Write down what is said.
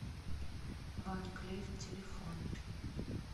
ван клиф телефон